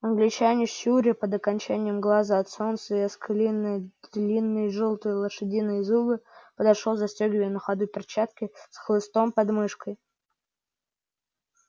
англичанин щуря под окончанием глаза от солнца и оскаливая длинные жёлтые лошадиные зубы подошёл застёгивая на ходу перчатки с хлыстом под мышкой